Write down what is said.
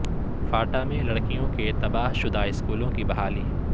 FATA میں لڑکیوں کے تباہ شدہ اسکولوں کی بحالی